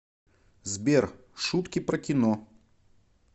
сбер шутки про кино